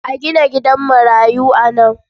A gina gidan marayu a nan.